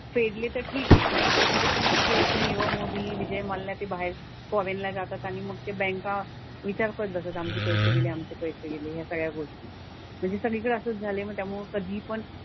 फेडले तर ठीक आहे. नाही फेडले तर मग हे असे निरव मोदी, विजय मल्ल्या ते बाहेर फॉरेनला जातात आणि मग ते बँका विचार पण करतात आमचे पैसे गेले आमचे पैसे गेले ह्या सगळ्या गोष्टी. म्हणजे सगळीकडं असंच झालंय मग त्यामुळे कधीपण,